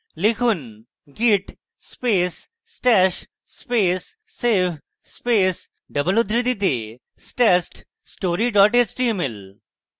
লিখুন: git space stash space save space double উদ্ধৃতিতে stashed story html